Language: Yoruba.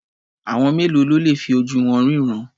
Àwọn mélòó ló le fi ojú wọn ríran?